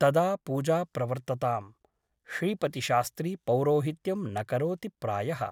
तदा पूजा प्रवर्तताम् । श्रीपतिशास्त्री पौरोहित्यं न करोति प्रायः ।